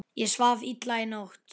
Ég svaf illa í nótt.